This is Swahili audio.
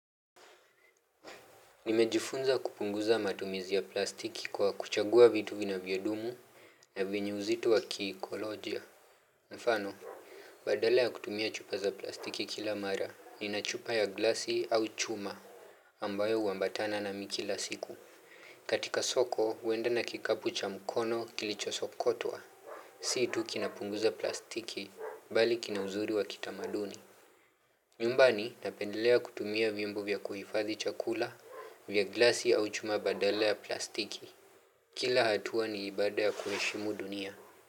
Nimejifunza kupunguza matumizi ya plastiki kwa kuchagua vitu vinavyodumu na vyenye uzito wa kiikolojia. Mfano, badala ya kutumia chupa za plastiki kila mara, nina chupa ya glasi au chuma ambayo uambatana nami kila siku. Katika soko, uenda na kikapu cha mkono kilicho sokotwa. Si tu kinapunguza plastiki, bali kina uzuri wa kitamaduni. Nyumbani napendelea kutumia viumbo vya kuhiffadhi chakula, vya glasi au chuma badala ya plastiki. Kila hatua ni ibada ya kuheshimu dunia.